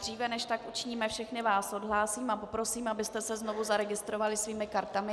Dříve než tak učiníme, všechny vás odhlásím, a poprosím, abyste se znovu zaregistrovali svými kartami.